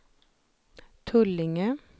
Tullinge